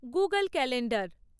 Google calendar